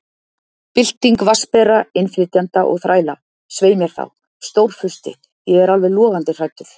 Bylting vatnsbera, innflytjenda og þræla. svei mér þá, Stórfursti, ég er alveg logandi hræddur